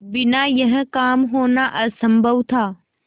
बिना यह काम होना असम्भव था